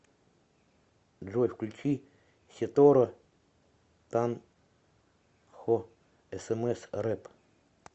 джой включи сетора танхо эсэмэс рэп